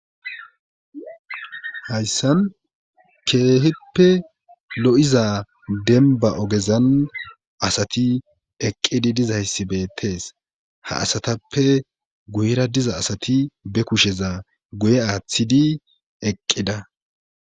Hayssan keehippe lo'iza denba ogezan asati eqqidi dizayssi beettees ha asatappe guyra diza asati be kusheza guye aaththidi eqqida